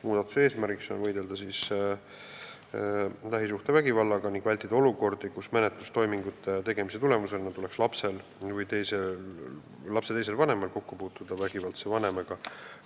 Muudatuse eesmärk on võidelda lähisuhtevägivallaga ning ära hoida olukordi, kus menetlustoimingute tulemusena tuleks lapsel või lapse teisel vanemal kokku puutuda vägivaldse vanemaga